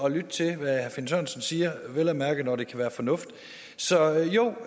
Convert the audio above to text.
at lytte til hvad herre finn sørensen siger vel at mærke når det kan være fornuftigt så jo